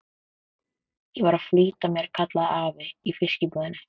Ég er að flýta mér, kallaði afi í fiskbúðinni.